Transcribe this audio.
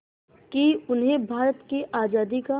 कि उन्हें भारत की आज़ादी का